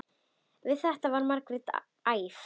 Við þetta varð Margrét æf.